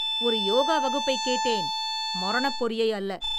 ஒரு யோகா வகுப்பைக் கேட்டேன், மரணப்பொறியை அல்ல!